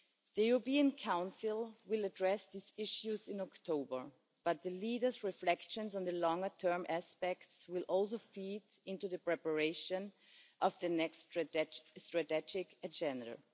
The European Council will address these issues in October, but the leaders' reflections on the longer term aspects will also feed into the preparation of the next strategic agenda.